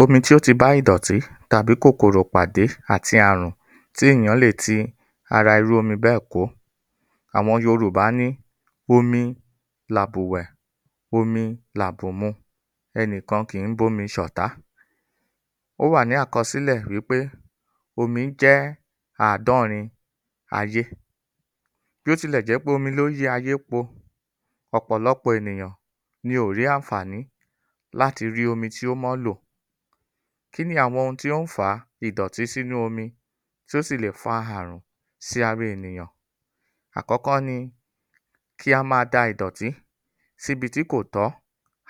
Omi ìdọ̀tí Omi tí ó ti bá ìdọ̀tí tàbí kòkòrò bàdé àti ààrùn tí ẹ̀yàn lè tí ara irú omí bẹ́ẹ̀ kó, àwọn Yorùbá ní, omi là bú wẹ̀, omi là bù mu, ẹnìkan kìí bómi ṣọ̀tá. Ó wà ní àkọsílè wí pé, omi jẹ́ àádọ́rin ayé, bótí le jẹ́ pé omi ló yí ayé po, ọ̀pọ̀lọpọ̀ ènìyàn ní ò rí àànfàní láti rí omi tí ó mọ́ lò. Ki ni àwọn ohun tí ó ń fà á ìdọ̀tí sínú omi, tí ó sì lè fa ààrùn sí ara enìyàn? Àkọ́kọ́ ni kí a máa da ìdọtí sí ibi tí kò tọ́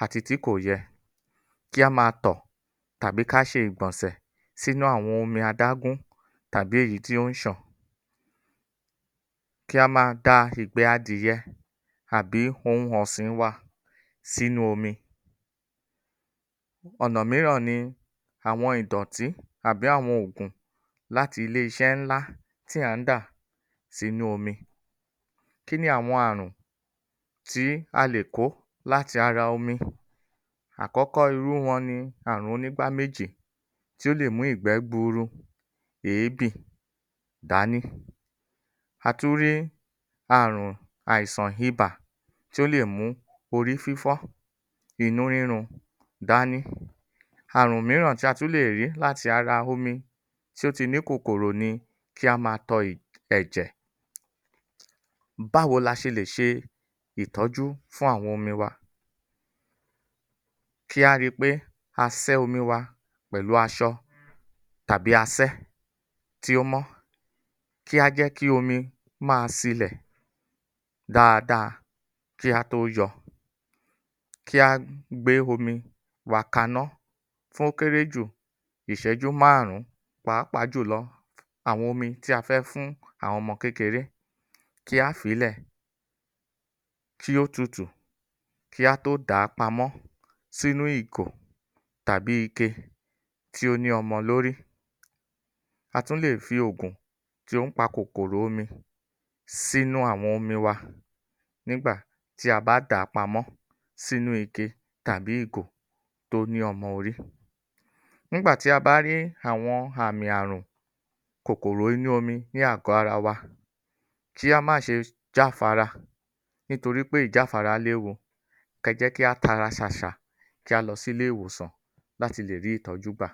àti tí kò yẹ, kí a máa tò tàbí kí a ṣe ìgbònsè sínú àwọn omi adágún tàbí eyí tí o ń ṣàn kí á máa da ìgbẹ́ Adìẹ àbí ohun ọ̀sìn-in wa sínu omi. Ònà mìíràn ni àwọn ìdọ̀tí àbí àwọn ògùn láti ile-iṣé ńlá tí à ń dà sínú omi. Kí ni àwọn ààrùn tí a lè kò láti ara omi? Àkọ́kọ́ irú wọn ni ààrun onígbá méjì, tí ó lè mú ìgbé gbuuru, èébì, dání. A tún rí ààrun àìsàn ibà, tí ó lè mú orí fífọ́, inú rírun, dání. Ààrùn mìíràn tí a tun lè rí láti ara omi tí ó tí ní kòkòrò ni, kí á máa tọ ẹ̀ ẹ̀jẹ̀. Báwo laṣe lè ṣe ìtọ́jú fún àwọn omi wa? Kí á ri pé a sẹ́ omi wa pẹ̀lú àṣọ tàbí asẹ tí ó mọ́, kí a jẹ́ kí omi máa silẹ̀ dáada kí a tó yọ, kí a gb gbé omi wa kaná fún ó kéré jù ìṣẹ́jú márùn-ún pàápàá jùlọ àwọn omi tí a fẹ́ fún àwọn ọmọ kékeré, tí á fílẹ̀ kí ó tutù, kí a tó dàá pamọ́ sínú ìgò tàbí ike tí ó ni omo lórí. A tún lè fi òògùn tí ó ń pa kòkòrò omi sínú àwọn omi wa nígbà tí a bá dàá pamọ̀ sínú ike tàbí ìgò tó ni ọmọ orí. Nígbà tí a bá rí àwọn ààmì àwọn ààrùn kòkòrò inú omi ní ààgọ̀ àra wa, kí a ma ṣe, jáfara, nítorí pé, ìjáfara léwu, kẹ jẹ́ kí a tara ṣàṣà kí a lọ sí ilé ìwòsàn, láti lè rí ìtọ́jú gbà.